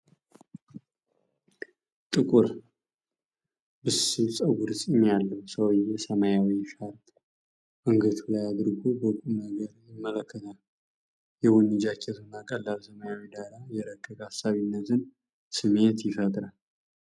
ጥቁር ብስል ፀጉርና ፂም ያለው ሰውዬ ሰማያዊ ሻርፕ አንገቱ ላይ አድርጎ በቁም ነገር ይመለከታል። የቡኒ ጃኬቱና ቀላል ሰማያዊው ዳራ የረቀቀ አሳቢነትን ስሜት ይፈጥራል።